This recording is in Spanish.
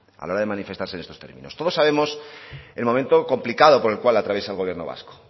a la hora de manifestarse en estos términos todos sabemos el momento complicado por el cual atraviesa el gobierno vasco